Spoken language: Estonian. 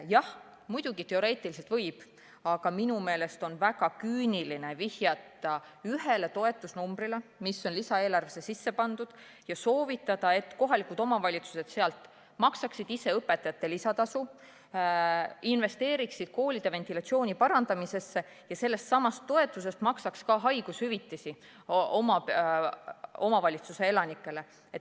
Jah, muidugi teoreetiliselt võib, aga minu meelest on väga küüniline viidata ühele toetusnumbrile, mis on lisaeelarvesse sisse pandud, ja soovitada, et kohalikud omavalitsused maksaksid sellest õpetajate lisatasu, investeeriksid koolide ventilatsiooni parandamisse ja sellestsamast toetusest maksaks ka haigushüvitist oma omavalitsuse elanikele.